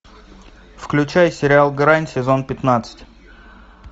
включай сериал грань сезон пятнадцать